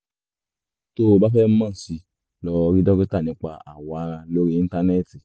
tó o bá fẹ́ mọ̀ sí i lọ rí dókítà nípa awọ ara lórí íńtánẹ́ẹ̀tì